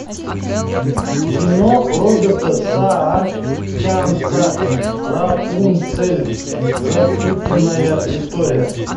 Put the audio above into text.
кино роберта саакянца рапунцель запутанная история